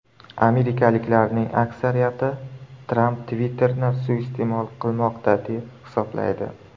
Amerikaliklarning aksariyati Tramp Twitter’ni suiiste’mol qilmoqda, deb hisoblaydi.